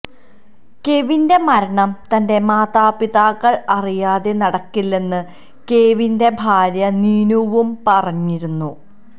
കെവിന്റെ മരണം തന്റെ മാതാപിതാക്കള് അറിയാതെ നടക്കില്ലെന്ന് കെവിന്റെ ഭാര്യ നീനുവും പറഞ്ഞിരുന്നു